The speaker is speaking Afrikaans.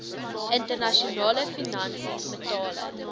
internasionale finansies metale